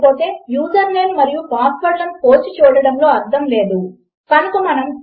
or the password is true - అంటే విలువ ఉన్నది కానీ ఈ క్షణములో విలువ లేదు కనుక తప్పు అవుతుంది